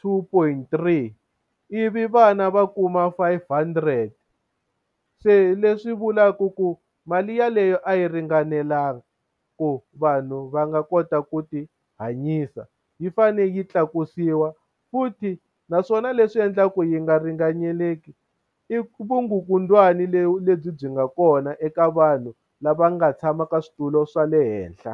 two point three, ivi vana va kuma five hundred. Se leswi vulaka ku mali yaleyo a yi ringanelanga ku vanhu va nga kota ku ti hanyisa. Yi fanele yi tlakusiwa. Futhi naswona leswi endlaka ku yi nga ringaneli i vukungundzwani lebyi byi nga kona eka vanhu lava nga tshama ka switulu swa le henhla.